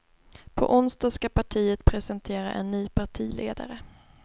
På onsdag ska partiet presentera en ny partiledare.